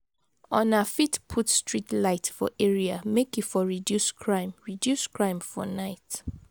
Una fit put street lite for area make e for reduce crime reduce crime for nite.